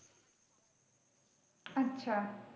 আচ্ছা।